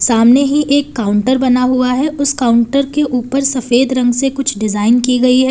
सामने ही एक काउंटर बना हुआ है उस काउंटर के ऊपर सफेद रंग से कुछ डिजाइन की गई है।